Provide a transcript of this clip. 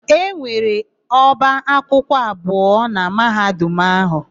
E nwere ọba akwụkwọ abụọ na Mahadum áhụ̀.